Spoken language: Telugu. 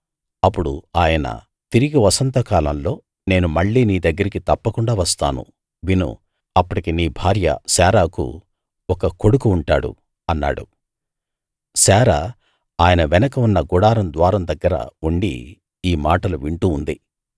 అప్పుడు ఆయన తిరిగి వసంతకాలంలో నేను మళ్ళీ నీ దగ్గరికి తప్పకుండా వస్తాను విను అప్పటికి నీ భార్య శారాకు ఒక కొడుకు ఉంటాడు అన్నాడు శారా ఆయన వెనుక ఉన్న గుడారం ద్వారం దగ్గర ఉండి ఈ మాటలు వింటూ ఉంది